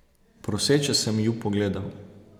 Proseče sem ju pogledal.